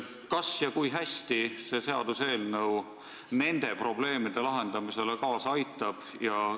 Kas ja kui hästi see seaduseelnõu nende probleemide lahendamisele kaasa aitab?